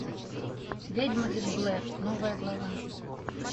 ведьма из блэр новая глава